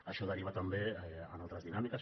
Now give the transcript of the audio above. això deriva també en altres dinàmiques